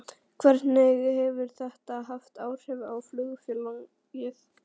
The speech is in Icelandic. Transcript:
Hvernig hefur þetta haft áhrif á flugfélagið?